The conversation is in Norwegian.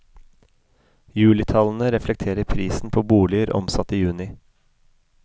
Julitallene reflekterer prisen på boliger omsatt i juni.